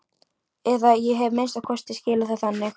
Eða ég hef að minnsta kosti skilið það þannig.